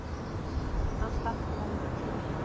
Hann slapp án meiðsla.